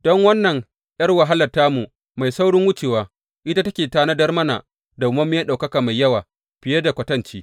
Don wannan ’yar wahalar tamu mai saurin wucewa, ita take tanadar mana madawwamiyar ɗaukaka mai yawa, fiye da kwatanci.